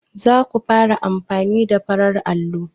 Zaku fara amfani da farar allo?